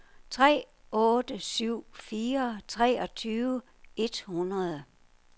tre otte syv fire treogtyve et hundrede